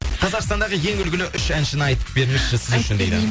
қазақстандағы ең үлгілі үш әншіні айтып беріңізші сіз үшін дейді